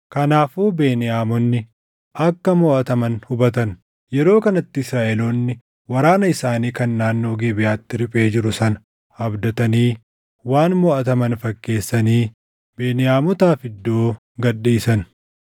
Kanaafuu Beniyaamonni akka moʼataman hubatan. Yeroo kanatti Israaʼeloonni waraana isaanii kan naannoo Gibeʼaatti riphee jiru sana abdatanii waan moʼataman fakkeessanii Beniyaamotaaf iddoo gad dhiisan.